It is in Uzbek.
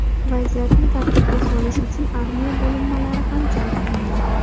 Vaziyatni tartibga solish uchun armiya bo‘linmalari ham jalb qilingan.